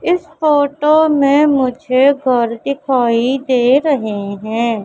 इस फोटो में मुझे घर दिखाई दे रहे हैं।